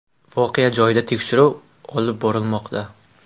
Voqea joyida tekshiruv olib borilmoqda.